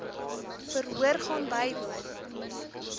verhoor gaan bywoon